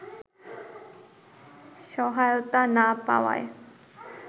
সহায়তা না পাওয়ায়